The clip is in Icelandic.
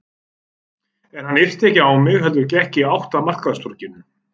En hann yrti ekki á mig heldur gekk í átt að markaðstorginu.